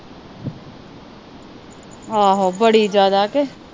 ਆਹੋ। ਬੜੀ ਜਿਆਦਾ।